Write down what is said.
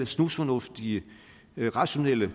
snusfornuftige rationelle